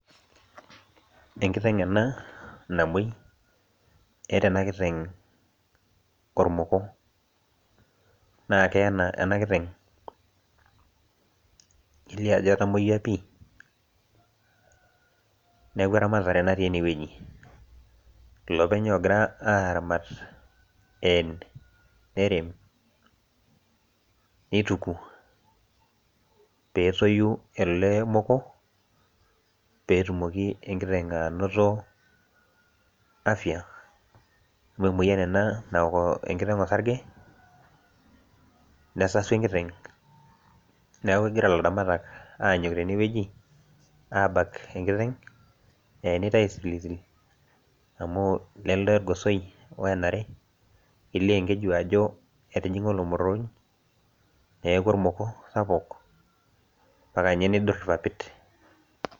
Enkiteng ena namoi. Eeta ena kiteng ormoko. Na keena ena kiteng, kelio ajo etamoyia pi, neeku eramatare natii enewueji. Iloopeny ogira aramat een, nerem, nituku, petoyu ilo moko, petumoki enkiteng' anoto afya amu emoyian ena naok enkiteng' osarge, nesasu enkiteng, neeku egira ilaramatak anyok tenewueji, abak enkiteng, eenitae aisilisil amu lelde orgosoi oenare, kelio enkeju ajo etijing'a olomorrooj, neeku ormoko sapuk, ata nye eneidur irpapit.